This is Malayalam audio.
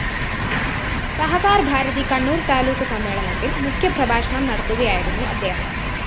സഹകാര്‍ഭാരതി കണ്ണൂര്‍ താലൂക്ക് സമ്മേളനത്തില്‍ മുഖ്യപ്രഭാഷണം നടത്തുകയായിരുന്നു അദ്ദേഹം